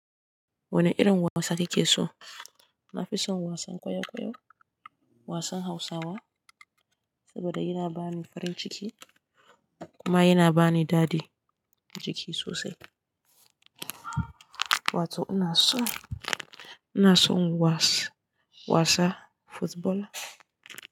Wane irin wasa kike so? Na fi son wasan kwaikwayo, wasan Hausawa saboda yana ba ni farin ciki kuma yana ba ni dadi jiki sosai. Wato ina son, ina son wasa, wasa football.